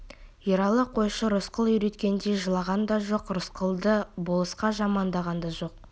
ералы қойшы рысқұл үйреткендей жылаған да жоқ рысқұлды болысқа жамандаған да жоқ